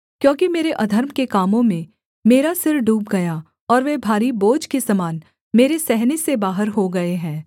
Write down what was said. क्योंकि मेरे अधर्म के कामों में मेरा सिर डूब गया और वे भारी बोझ के समान मेरे सहने से बाहर हो गए हैं